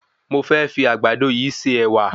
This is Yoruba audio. Mo fẹ́ fi Àgbàdo yìí se Ẹ̀wà